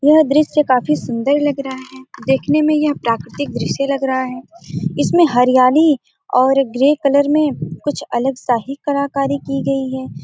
यह दृश्य काफी सुन्दर लग रहा है देखने में यह प्राकृतिक दृश्य लग रहा है इसमें हरियाली और एक ग्रे कलर में कुछ अलग सा ही कलाकारी की गई है।